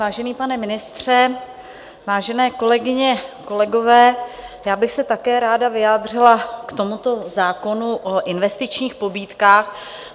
Vážený pane ministře, vážené kolegyně, kolegové, já bych se také ráda vyjádřila k tomuto zákonu o investičních pobídkách.